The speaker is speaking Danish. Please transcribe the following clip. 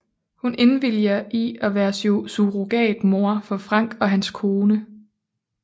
Hun indviliger i at være surrogatmor for Frank og hans kone